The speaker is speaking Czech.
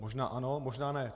Možná ano, možná ne.